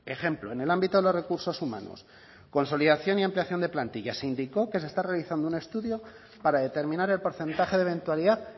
ejemplo en el ámbito de los recursos humanos consolidación y ampliación de plantillas se indicó que se está realizando un estudio para determinar el porcentaje de eventualidad